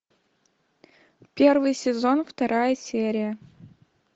первый сезон вторая серия